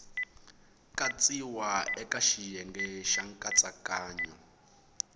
katsiwa eka xiyenge xa nkatsakanyo